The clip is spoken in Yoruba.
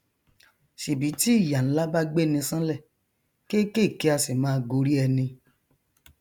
ṣèbí tí ìyà nlá bá gbeni ṣánlẹ kékèké a sì máa gorí ẹni